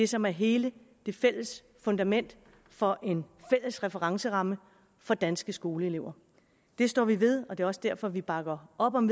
som er hele det fælles fundament for en fælles referenceramme for danske skoleelever det står vi ved og det er også derfor vi bakker op om